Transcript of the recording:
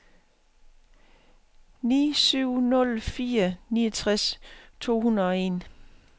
ni syv nul fire niogtres to hundrede og en